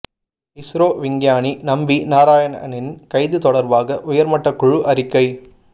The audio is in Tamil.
இஸ்ரோ விஞ்ஞானி நம்பி நாராயணனின் கைது தொடர்பாக உயர்மட்ட குழு அறிக்கை